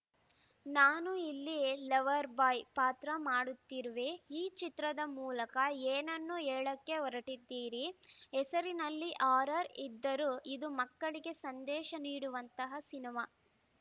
ನಾನು ಇಲ್ಲಿ lover boy ಪಾತ್ರ ಮಾಡುತ್ತಿರುವೆ ಈ ಚಿತ್ರದ ಮೂಲಕ ಏನನ್ನ ಹೇಳಕ್ಕೆ ಹೊರಟಿದ್ದೀರಿ ಹೆಸರಿನಲ್ಲಿ ಹಾರರ್‌ ಇದ್ದರೂ ಇದು ಮಕ್ಕಳಿಗೆ ಸಂದೇಶ ನೀಡುವಂತಹ ಸಿನಿಮಾ